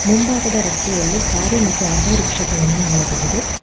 ಮುಂಭಾಗದ ರಸ್ತೆಯಲ್ಲಿ ಕಾರು ಮತ್ತು ಆಟೋರಿಕ್ಷ ಗಳನ್ನು ನೋಡಬಹುದು.